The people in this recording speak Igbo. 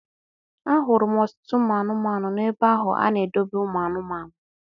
A hụrụ m ọtụtụ ụmụ anụmanụ n'ebe ahụ a na-edobe ụmụ anụmanụ.